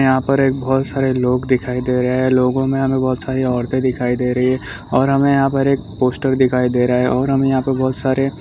यहाँ पर एक बहुत सारे लोग दिखाई दे रहे है लोगों में हमें बहुत सारी औरतें दिखाई दे रही है और हमें यहाँ पर एक पोस्टर दिखाई दे रहा है और हम यहाँ पे बहुत सारे --